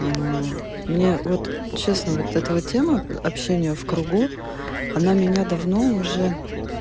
мне вот честно вот это вот тема общения в кругу она меня давно уже